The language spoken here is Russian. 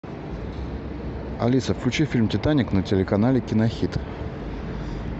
алиса включи фильм титаник на телеканале кинохит